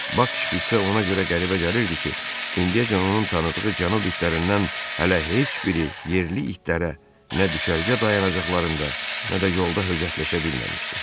Bak şpitsə ona görə qəribə gəlirdi ki, indiyəcən onun tanıdığı cənub itlərindən hələ heç biri yerli itlərə nə düşərgə dayanacaqlarında, nə də yolda höcətləşə bilməmişdi.